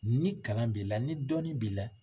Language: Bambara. Ni kalan b'i la ni dɔnni b'i la.